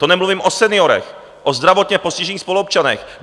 To nemluvím o seniorech, o zdravotně postižených spoluobčanech.